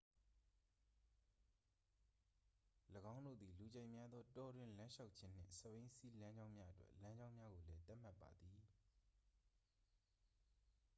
၎င်းတို့သည် လူကြိုက်များသော တောတွင်းလမ်းလျှောက်ခြင်းနှင့် စက်ဘီးစီးလမ်းကြောင်းများအတွက် လမ်းကြောင်းများကိုလည်း သတ်မှတ်ပါသည်